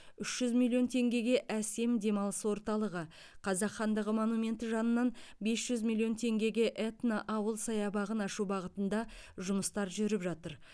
үш жүз миллион теңгеге асем демалыс орталығы қазақ хандығы монументі жанынан бес жүз миллион теңгеге этно ауыл саябағын ашу бағытында жұмыстар жүріп жатыр